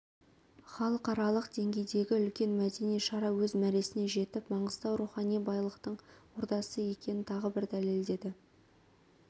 халықаралық деңгейдегі үлкен мәдени шара өз мәресіне жетіп маңғыстау рухани байлықтың ордасы екенін тағы бір дәлелдеді